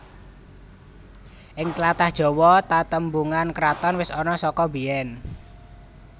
Ing tlatah Jawa tatembungan kraton wis ana saka biyen